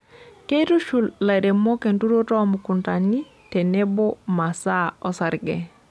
Keitushul lairemok enturoto oo mukuntani tenebo masaa osarge.